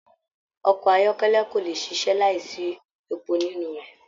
Ọkọ ayọkẹlẹ ko le ṣiṣẹ láì sí èpo nínú rẹ.